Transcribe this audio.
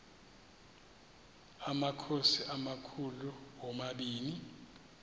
amakhosi amakhulu omabini